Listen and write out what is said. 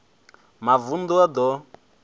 mavund u a d o